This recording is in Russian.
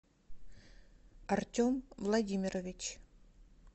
артем владимирович